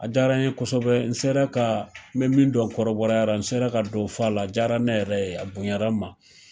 A diyara n ye kosɛbɛ n sera ka n bɛ min dɔ kɔrɔbɔrɔya la n sera ka dɔ fɔ fɔ a la diyara ne yɛrɛ ye a bonyara n ma